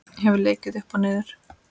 Hef leikið upp og niður.